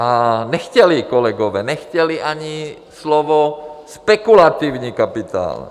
A nechtěli kolegové, nechtěli ani slovo spekulativní kapitál.